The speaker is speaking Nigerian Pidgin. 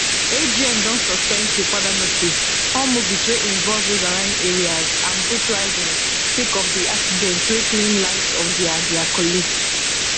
agn don suspend till further notice all movies wey involve riverine areas and boat riding sake of di accident wey claim lives of dia dia colleagues